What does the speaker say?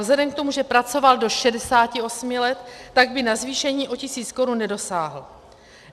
Vzhledem k tomu, že pracoval do 68 let, tak by na zvýšení o tisíc korun nedosáhl.